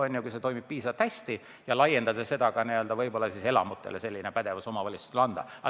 Ja kui see toimib piisavalt hästi, siis ehk laiendada omavalitsuste pädevust ka elamutele.